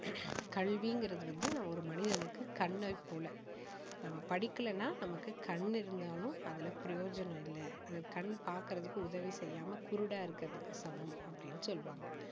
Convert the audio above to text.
கல்விங்கறது ஒரு மனிதனுக்கு கண்ணை போல நாம படிக்கலேன்னா நமக்கு கண் இருந்தாலும் அதுல பிரயோஜனம் இல்ல அந்த கண் பார்க்கிறதுக்கு உதவி செய்யாம குருடா இருக்கிறதுக்கு சமம் அப்படின்னு சொல்லுவாங்க